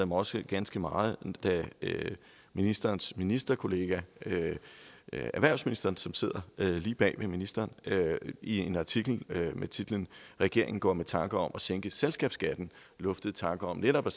mig også ganske meget da ministerens ministerkollega erhvervsministeren som sidder lige bag ved ministeren i en artikel med titlen regeringen går med tanker om at sænke selskabsskatten luftede tanken om netop